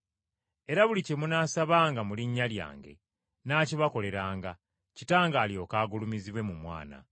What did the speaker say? Era buli kye munaasabanga mu linnya Lyange nnaakibakoleranga, Kitange alyoke agulumizibwe mu Mwana.